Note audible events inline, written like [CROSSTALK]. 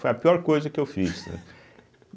Foi a pior coisa que eu fiz. [LAUGHS]